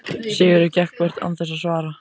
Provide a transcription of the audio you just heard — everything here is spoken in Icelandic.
Sigurður gekk burt án þess að svara.